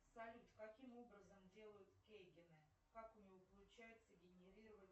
салют каким образом делают кейгены как у него получается генерировать